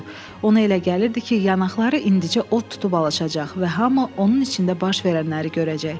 Ona elə gəlirdi ki, yanaqları indicə od tutub alacaq və hamı onun içində baş verənləri görəcək.